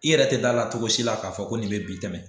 I yɛrɛ tɛ d'a la cogo si la k'a fɔ ko nin bɛ bi tɛmɛ